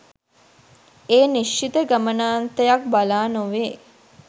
ඒ නිශ්චිත ගමනාන්තයක් බලා නොවේ.